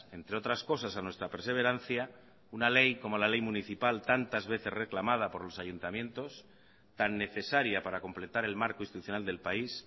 entre otras cosas a nuestra perseverancia una ley como la ley municipal tantas veces reclamadas por los ayuntamientos tan necesaria para completar el marco institucional del país